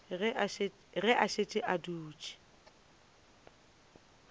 ge a šetše a dutše